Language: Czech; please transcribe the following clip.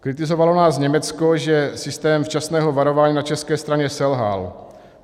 Kritizovalo nás Německo, že systém včasného varování na české straně selhal.